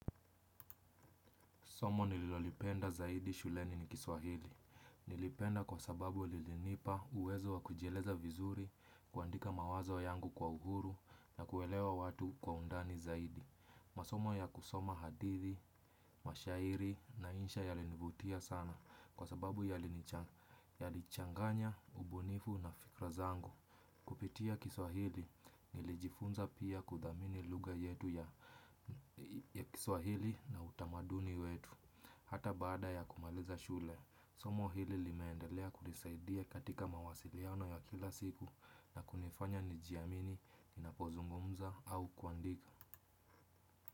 Somo nililolipenda zaidi shuleni ni kiswahili. Nilipenda kwa sababu lilinipa uwezo wa kujieleza vizuri, kuandika mawazo yangu kwa uhuru na kuelewa watu kwa undani zaidi. Masomo ya kusoma hadithi, mashairi na insha yalinivutia sana kwa sababu yalichanganya, ubunifu na fikra zangu. Kupitia kiswahili nilijifunza pia kudhamini lugha yetu ya kiswahili na utamaduni yetu. Hata baada ya kumaliza shule, somo hili limeendelea kunisaidia katika mawasiliano ya kila siku na kunifanya nijiamini, ninapozungumza au kuandika.